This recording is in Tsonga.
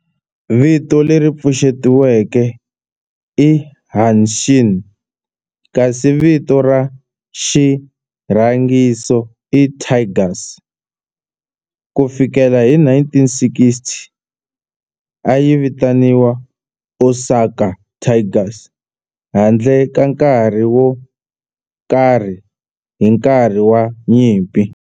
Vito leri pfuxetiweke i Hanshin kasi vito ra xirhangiso i Tigers. Ku fikela hi 1960, a yi vitaniwa Osaka Tigers handle ka nkarhi wo karhi hi nkarhi wa nyimpi.